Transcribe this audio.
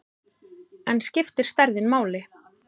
En skiptir stærðin máli?